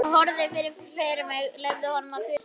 Ég horfði fram fyrir mig, leyfði honum að þusa.